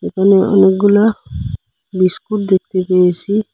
একানে অনেক গুলা বিস্কুট দেকতে পেয়েসি।